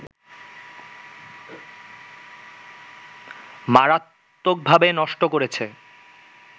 মারাত্দকভাবে নষ্ট হয়েছে